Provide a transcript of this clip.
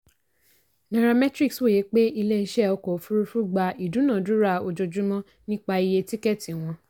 nairametrics wòye pé ilé-iṣẹ́ ọkọ̀ òfuurufú gba ìdúnàádúrà ojoojúmọ́ nípa iye tíkẹ́tì wọn.